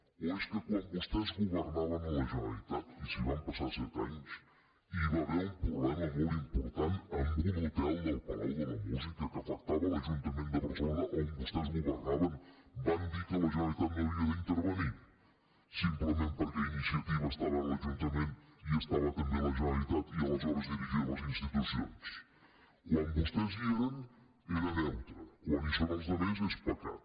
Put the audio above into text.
o és que quan vostès governaven a la generalitat i s’hi van passar set anys i hi va haver un problema molt important amb un hotel del palau de la música que afectava l’ajuntament de barcelo·na on vostès governaven van dir que la generalitat no hi havia d’intervenir simplement perquè iniciativa estava a l’ajuntament i estava també a la generalitat i aleshores dirigia les institucions quan vostès hi eren era neutre quan hi són els altres és pecat